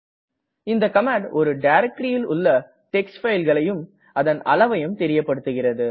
இந்த கமாண்ட் ஒரு directoryல் உள்ள டிஎக்ஸ்டி fileகளையும் அதன் அளைவயும் தெரியப்படுத்துகிறது